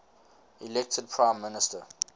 elected prime minister